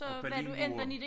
Og Berlinmuren